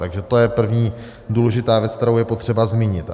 Takže to je první důležitá věc, kterou je potřeba zmínit.